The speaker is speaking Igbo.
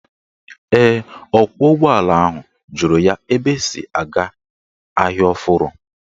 Ee, ọkwọụgbọala ahụ jụrụ ya ebe esi aga Ahịa Ọfụrụ.